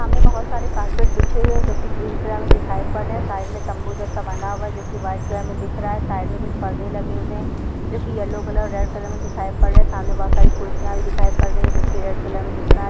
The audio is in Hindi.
सामने बहोत सारे कार्पेट बिछे हुए है जो की ग्रीन कलर मैं दिखाई पड रहे है। साइड मैं तंबू जैसा बना हुआ है जो की व्हाइट कलर मैं दिख रहा है साइड मैं कुछ परदे लगे हुए है जो की येल्लो कलर रेड कलर मैं दिखाई पड रहे है। सामने बहोत सारी कुर्सियां भी दिखाई पड रही है जो की रेड कलर में दिख रहा है।